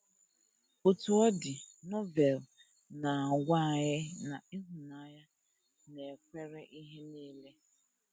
Otú ọ dị, Novel na - agwa anyị na ịhụnanya “ na - ekwere ihe nile. ”